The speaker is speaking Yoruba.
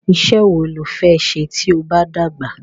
Isẹ́ wo lo fẹ́ se tí o bá dàgbà?